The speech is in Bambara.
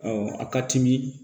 a ka timi